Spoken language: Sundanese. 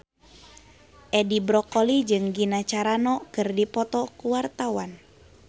Edi Brokoli jeung Gina Carano keur dipoto ku wartawan